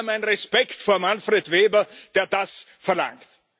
Daher mein Respekt vor Manfred Weber, der das verlangt.